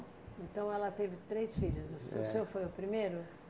Então ela teve três filhas, o se o senhor foi o primeiro?